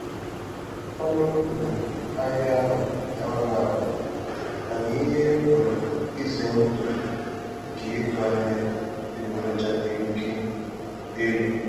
Ọnụ um ahịa ahụ na-anwa anwa, mana ihe um ize ndụ nke ịzụ ahịa adịgboroja dị oke um elu.